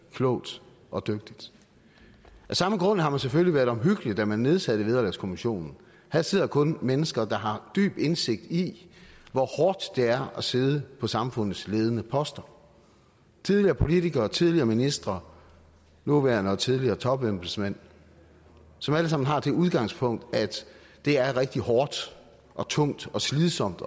klogt og dygtigt af samme grund har man selvfølgelig været omhyggelig da man nedsatte vederlagskommissionen her sidder kun mennesker der har dyb indsigt i hvor hårdt det er at sidde på samfundets ledende poster tidligere politikere tidligere ministre nuværende og tidligere topembedsmænd som alle sammen har det udgangspunkt at det er rigtig hårdt og tungt og slidsomt